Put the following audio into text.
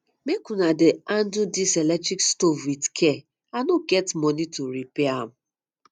make una dey handle dis electric stove with care i no get money to repair am